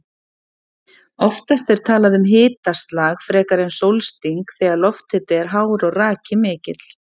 Oftast er talað um hitaslag frekar en sólsting þegar lofthiti er hár og raki mikill.